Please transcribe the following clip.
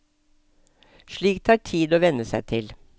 Slikt tar tid å venne seg til.